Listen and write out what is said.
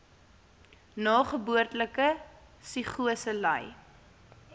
nageboortelike psigose ly